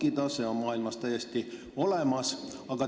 Selline praktika on maailmas täiesti olemas.